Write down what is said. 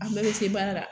An bɛɛ bɛ se baara la